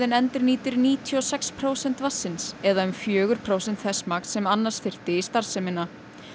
endurnýtir níutíu og sex prósent vatnsins eða um fjögur prósent þess magns sem annars þyrfti í starfsemina